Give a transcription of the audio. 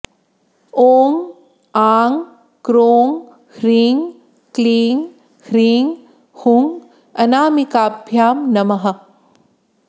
ॐ आँ क्रोँ ह्रीँ क्लीँ ह्रीँ हुँ अनामिकाभ्यां नमः